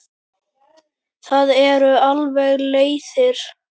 Það eru alveg leiðir.